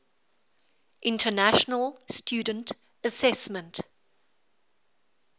international student assessment